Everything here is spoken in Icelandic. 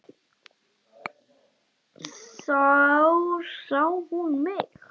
Og þá sá hún mig.